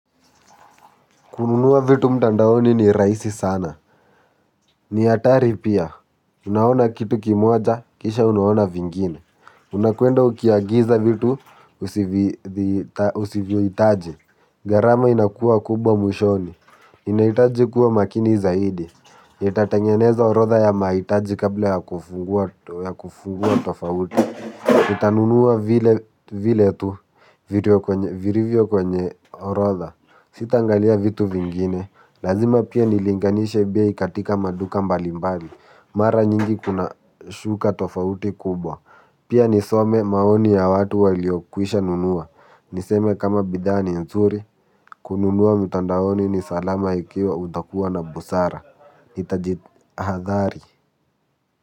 Kununua vitu mtandaoni ni rahisi sana. Ni hatari pia. Unaona kitu kimoja. Kisha unaona vingine. Unakwenda ukiagiza vitu Usivyohitaji. Gharama inakuwa kubwa mwishoni. Inahitaji kuwa makini zaidi nitatengeneza orodha ya mahitaji kabla ya kufungua tofauti nitanunua vile tu viliivyo kwenye orodha Sitaangalia vitu vingine. Lazima pia nilinganishe bei katika maduka mbalimbali. Mara nyingi kuna shuka tofauti kubwa. Pia nisome maoni ya watu waliokwisha nunua. Niseme kama bidhaa ni nzuri. Kununua mtandaoni ni salama ikiwa utakuwa na busara nitajihadhari.